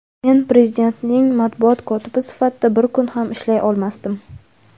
men Prezidentning matbuot kotibi sifatida bir kun ham ishlay olmasdim.